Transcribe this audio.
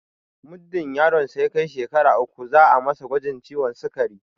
Muddin yaron sa ya kai shekara uku za'a masa gwajin ciwon sikari